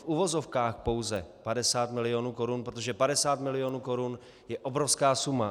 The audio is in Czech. V uvozovkách pouze 50 milionů korun, protože 50 milionů korun je obrovská suma.